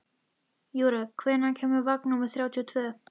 Júrek, hvenær kemur vagn númer þrjátíu og tvö?